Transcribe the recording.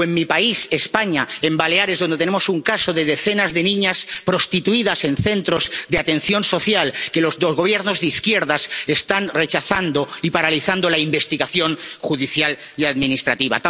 o en mi país, España, en Baleares, donde tenemos un caso de decenas de niñas prostituidas en centros de atención social que los Gobiernos de izquierdas están rechazando y en el que están paralizando la investigación judicial y administrativa.